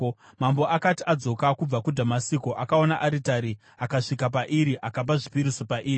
Mambo akati adzoka kubva kuDhamasiko akaona aritari akasvika pairi akapa zvipiriso pairi.